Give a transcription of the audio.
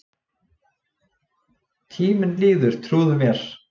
Tíminn líður, trúðu mér.